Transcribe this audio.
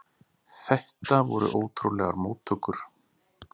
Þetta voru ótrúlegar móttökur.